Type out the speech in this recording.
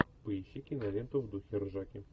поищи киноленту в духе ржаки